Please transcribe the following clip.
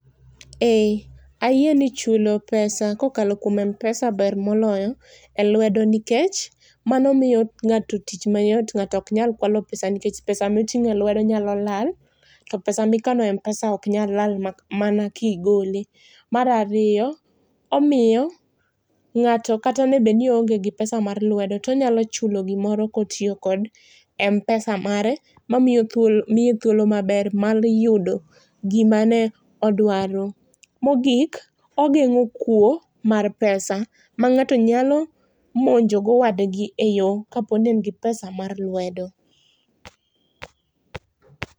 Eeeh, ayie ni chulo pesa kokalo kuom Mpesa ber moloyo e lwedo nikech mano miyo ngato tich mayot ngato ok nyal kwalo pesa, pesa ma itingo e lwedo nyalo lal to pesa mikano e mpesa ok nyal lal mana kigole. Mar ariyo omiyo ngato kata bedni oonge gi pesa mar lwedo tonyalo chulo gimoro kotiyo gi Mpesa mare mamiye thuolo maber mar yudo gimane odwaro. Mogik ogengo kuo mar pesa mangato nyalo monjo go wadgi e yoo kaponi en gi pesa mar lwedo